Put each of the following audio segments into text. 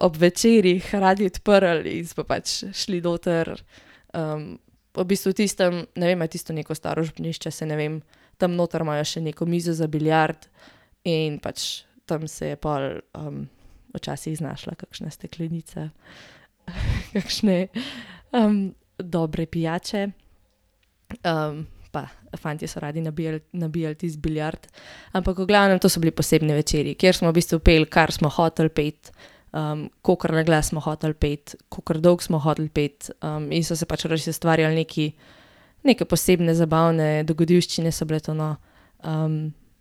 ob večerih radi odprli in smo pač šli noter, V bistvu tistim, ne vem, a je tisto neko staro župnišče, saj ne vem, tam noter imajo še neko mizo za biljard in pač tam se je pol, včasih znašla kakšna steklenica kakšne, dobre pijače. pa fantje so radi nabijali tisti biljard, ampak v glavnem to so bili posebni večeri, kjer smo v bistvu peli, kar smo hoteli peti, kakor naglas smo hoteli peti, kakor dolgo smo hoteli peti, in so se pač res ustvarjali neki, neke posebne zabavne dogodivščine so bile to, no.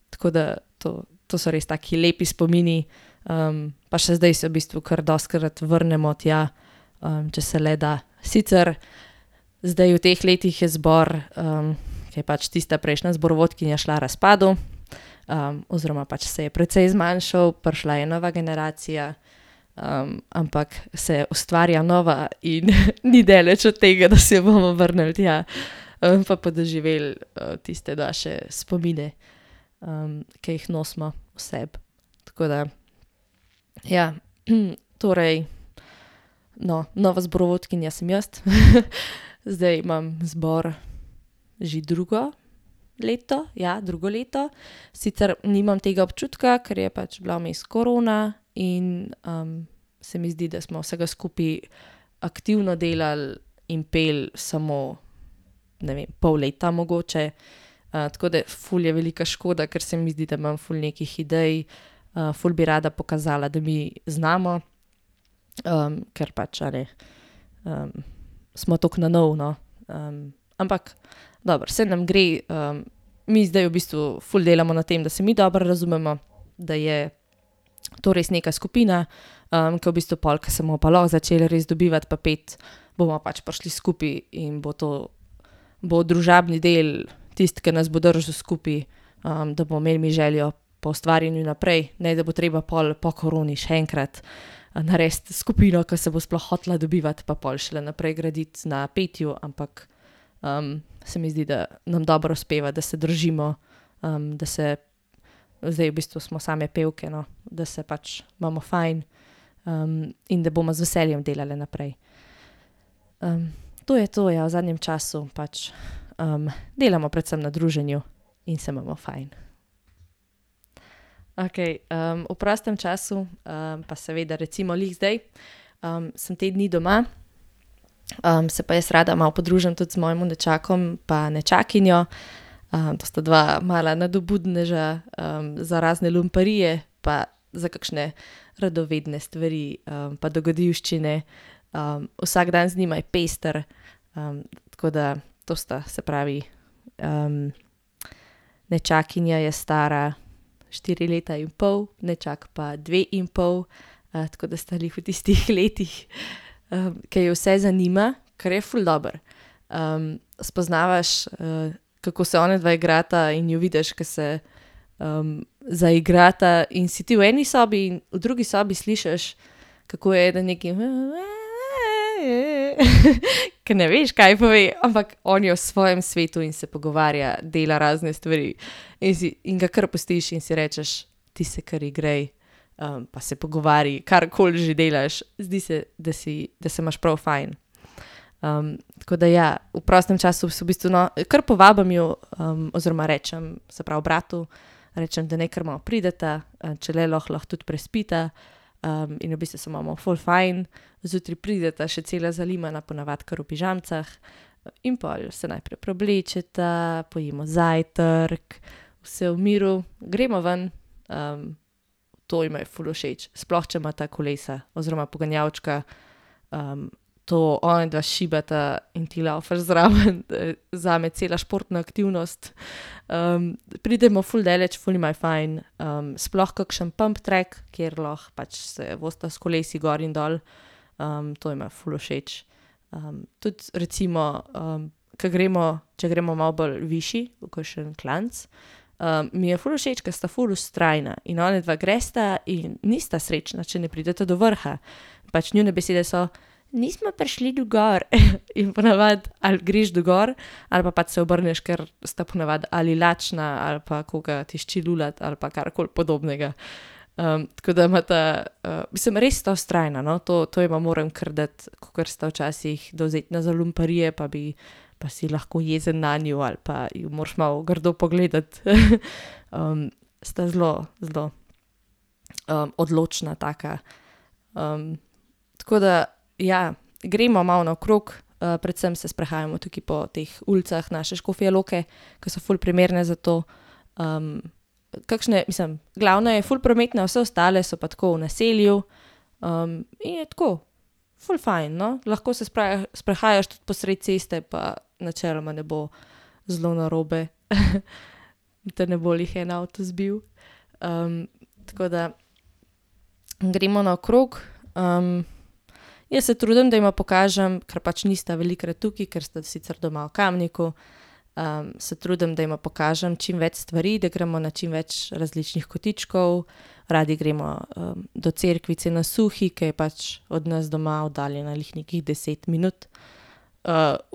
tako da to, to so res taki lepi spomini, pa še zdaj se v bistvu kar dostikrat vrnemo tja, če se le da, sicer zdaj v teh letih je zbor, ke je pač tista prejšnja zborovodkinja šla, razpadel, oziroma pač se je precej zmanjšal, prišla je nova generacija, ampak se ustvarja nova in ni daleč od tega, da se bomo vrnili tja, pa podoživeli, tiste naše spomine, ki jih nosimo v sebi. Tako da, ja. Torej, no, nova zborovodkinja sem jaz, zdaj imam zbor že drugo leto, ja, drugo leto. Sicer nimam tega občutka, ker je pač bila vmes korona in, se mi zdi, da smo vsega skupaj aktivno delali in peli samo, ne vem, pol leta, mogoče. tako da ful je velika škoda, ker se mi zdi, da imam tako ful nekih idej. ful bi rada pokazala, da mi znamo, ker pač, a ne, smo toliko na novo, no. ampak dobro, saj nam gre, mi zdaj v bistvu ful delamo na tem, da se mi dobro razumemo, da je to res neka skupina, ke v bistvu pol, ke se bomo pa lahko začeli res dobivati pa peti, bomo pač prišli skupaj in bo to, bo družabni del tisti, ke nas bo držal skupaj. da bomo imeli mi željo po ustvarjanju naprej, ne, da bo treba pol po koroni še enkrat, narediti skupino, ke se bo sploh hotela dobivati, pa pol šele graditi na petju, ampak se mi zdi, da nam dobro uspeva, da se držimo, da se zdaj v bistvu smo same pevke, no, da se pač imamo fajn, in da bomo z veseljem delale naprej. to je to, ja v zadnjem času, pač, delamo predvsem na druženju in se imamo fajn. Okej, v prostem času, pa seveda recimo glih zdaj, sem te dni doma, se pa jaz rada malo podružim tudi z mojim nečakom pa nečakinjo. to sta dva mala nadobudneža za razne lumparije pa za kakšne radovedne stvari, pa dogodivščine. vsak dan z njima je pester, tako da to sta, se pravi, nečakinja je stara štiri leta in pol, nečak pa dve in pol. tako da sta glih v tistih letih, ke ju vse zanima, kar je ful dobro. spoznavaš, kako se onadva igrata, in jo vidiš, ke se, zaigrata in si ti v eni sobi in v drugi sobi slišiš, kako eden nekaj , ke ne veš, kaj pove, ampak on je v svojem svetu in se pogovarja, dela razne stvari. In si, in ga kar pustiš in si rečeš: "Ti se kar igraj, pa se pogovarjaj, karkoli že delaš," zdi se, da si, da se imaš prav fajn. tako da, ja, v prostem času se v bistvu, no, kar povabim ju, oziroma rečem, se pravi bratu, rečem, da naj kar malo prideta, če le lahko, lahko tudi prespita. in v bistvu se imamo ful fajn. Zjutraj prideta še cela zalimana, po navadi kar v pižamicah in pol se najprej preoblečeta, pojemo zajtrk, vse v miru, gremo ven, to jima je ful všeč, sploh če imata kolesa oziroma poganjalčka. to onadva šibata in ti lavfaš zraven , zame cela športna aktivnost. pridmo ful daleč, ful jima je fajn sploh kakšen pump track, kjer lahko pač se vozita s kolesi gor in dol, to jima je ful všeč, tudi recimo, ke gremo, če gremo malo bolj višje v kakšen klanec, mi je ful všeč, ker sta ful vztrajna, in onadva gresta in nista srečna, če ne prideta do vrha. Pač njune besede so: "Nismo prišli do gor," in po navadi, ali greš do gor ali pa pač se obrneš, ker sta po navadi ali lačna ali pa koga tišči lulati ali pa karkoli podobnega. tako da imata, res sta vztrajna, no, to, to jima moram kar dati, kakor sta včasih dovzetna za lumparije pa bi pa si lahko jezen nanju ali pa ju moraš malo grdo pogledati, sta zelo, zelo, odločna, taka, tako da, ja, gremo malo naokrog, predvsem se sprehajamo tukaj po teh ulicah naše Škofje Loke, ke so ful primerne za to. kakšna, mislim, glavna je ful prometna, ostale so pa tako v naselju, in je tako ful fajn, no, lahko se sprehajaš tudi po sredi ceste, pa načeloma ne bo zelo narobe , da te ne bo glih en avto zbil. tako da gremo naokrog, jaz se trudim, da ima pokažem, ker pač nista velikokrat tukaj, ker sta sicer doma v Kamniku, se trudim, da ima pokažem čimveč stvari, da gremo na čimveč različnih kotičkov, radi gremo, do cerkvice na Suhi, ke je pač od nas doma oddaljena glih nekih deset minut.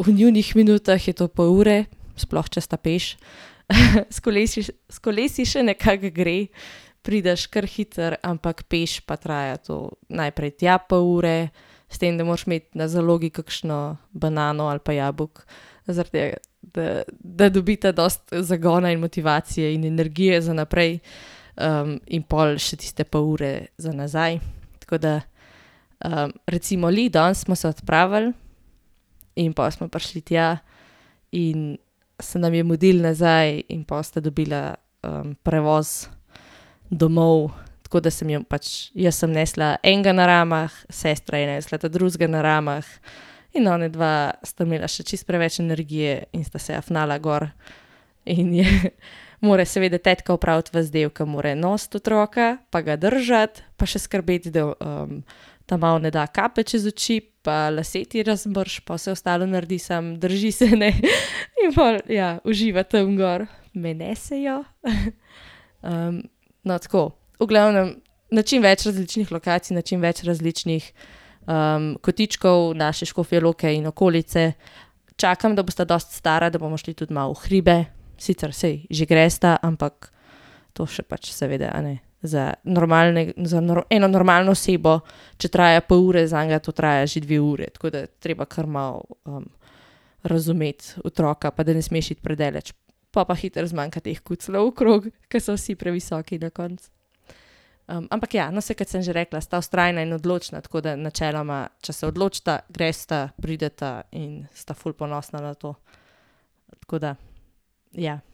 v njunih minutah je to pol ure, sploh če sta peš. S s kolesi še nekako gre, prideš kar hitro, ampak peš pa traja to, najprej tja pol ure s tem, da moraš imeti na zalogi kakšno banano ali pa jabolko. Zaradi tega, da, da dobita dosti zagona in motivacije in energije za naprej. in pol še tiste pol ure za nazaj, tako da, recimo glih danes smo se odpravili in pol smo prišli tja in se nam je mudilo nazaj in pol sta dobila, prevoz domov, tako da sem jim pač, jaz sem nesla enega na ramah, sestra je nesla ta drugega na ramah. In onadva sta imela še čisto preveč energije in sta se afnala gor in je mora seveda tetka opraviti vas del, ke mora nositi otroka pa ga držati pa še skrbeti, da, ta mali ne da kape čez oči, pa lase ti razmrši pa vse ostalo naredi, samo drži se ne in pol, ja, uživa tam gor. Me nesejo, no, tako, v glavnem na čim več različnih lokacij, na čim več različnih, kotičkov naše Škofje Loke in okolice. Čakam, da bosta dosti stara, da bomo šli tudi malo v hribe, sicer saj, že gresta, ampak to še pač seveda, a ne, za za eno normalno osebo, če traja pol ure, zanj to traja že dve ure, tako da treba kar malo, razumeti otroka, pa da ne smeš iti predaleč. Pol pa hitro zmanjka teh kucljev okrog, ke so vsi previsoki na koncu. ampak ja, no, saj kot sem že rekla, sta vztrajna in določna, tako da načeloma, če se odločita, gresta, prideta in sta ful ponosna na to. Tako da, ja.